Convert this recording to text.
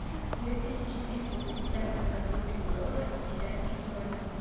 две тысячи триста пятьдесят сингапурских долларах в китайских юанях